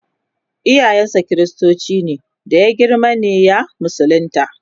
iyayen sa kristoci ne da ya girma ne ya musulunta